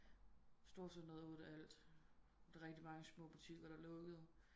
Storcenteret åd alt der er rigtig mange små butikker der lukkede